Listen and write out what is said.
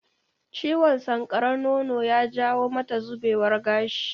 Ciwon sankarar nono ya jawo mata zubewar gashi